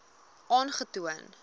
aangetoon